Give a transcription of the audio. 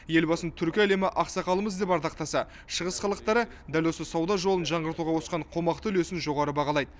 елбасын түркі әлемі ақсақалымыз деп ардақтаса шығыс халықтары дәл осы сауда жолын жаңғыртуға қосқан қомақты үлесін жоғары бағалайды